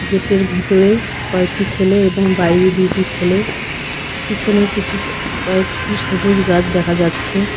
গেটের ভিতরে কয়েকটি ছেলে এবং বাইরে দুইটি ছেলে পিছনে কিছু কয়েকটি সবুজ গাছ দেখা যাচ্ছে।